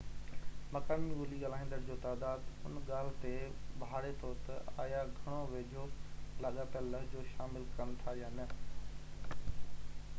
مقامي ٻولي ڳالهائيندڙن جو تعداد ان ڳالهہ تي ڀاڙي ٿو تہ آيا گهڻو ويجهو لاڳاپيل لهجو شامل ڪن ٿا يا نہ